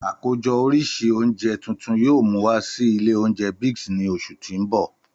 Àkójọ oríṣi oúnjẹ tuntun yoo mu wa si ilé oúnjẹ Biggs ni oṣu ti n bọ.